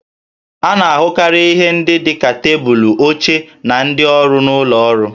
A na-ahụkarị ihe ndị dị ka tebụlụ, oche, na ndị ọrụ n'ụlọ ọrụ